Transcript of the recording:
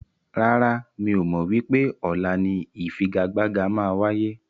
Rárá, mi ò mọ wípé ọ̀la ni ifigagbaga máa wáyé.